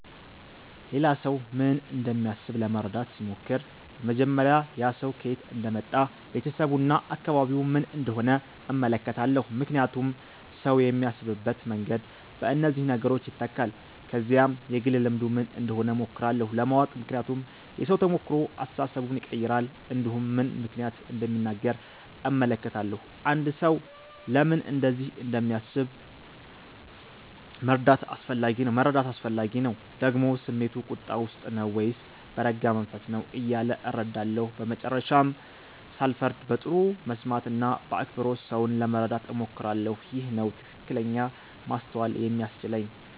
ሌላ ሰው ምን እንደሚያስብ ለመረዳት ሲሞክር በመጀመሪያ ያ ሰው ከየት እንደመጣ ቤተሰቡ እና አካባቢው ምን እንደሆነ እመለከታለሁ ምክንያቱም ሰው የሚያስብበት መንገድ በእነዚህ ነገሮች ይተካል ከዚያም የግል ልምዱ ምን እንደሆነ እሞክራለሁ ለማወቅ ምክንያቱም የሰው ተሞክሮ አስተሳሰቡን ይቀይራል እንዲሁም ምን ምክንያት እንደሚናገር እመለከታለሁ አንድ ሰው ለምን እንደዚህ እንደሚያስብ መረዳት አስፈላጊ ነው ደግሞ ስሜቱ ቁጣ ውስጥ ነው ወይስ በረጋ መንፈስ ነው እያለ እረዳለሁ በመጨረሻም ሳልፈርድ በጥሩ መስማት እና በአክብሮት ሰውን ለመረዳት እሞክራለሁ ይህ ነው ትክክለኛ ማስተዋል የሚያስችለኝ